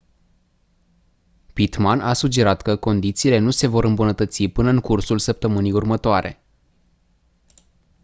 pittman a sugerat că condițiile nu se vor îmbunătăți până în cursul săptămânii următoare